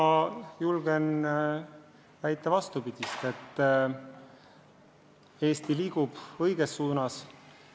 Ma julgen väita vastupidist: Eesti liigub õiges suunas.